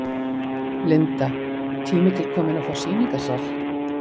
Linda: Tími til kominn að fá sýningarsal?